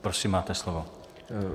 Prosím, máte slovo.